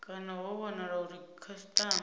kana ho wanala uri khasitama